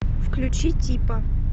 включи типа